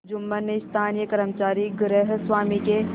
जुम्मन ने स्थानीय कर्मचारीगृहस्वामीके